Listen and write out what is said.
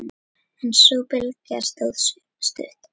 En sú bylgja stóð stutt.